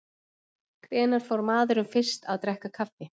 Hvenær fór maðurinn fyrst að drekka kaffi?